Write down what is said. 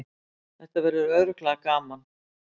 Þetta verður örugglega gaman